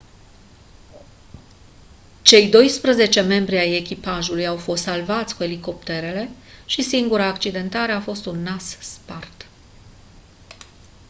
cei doisprezece membri ai echipajului au fost salvați cu elicopterele și singura accidentare a fost un nas spart